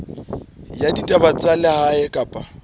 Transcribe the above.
ya ditaba tsa lehae kapa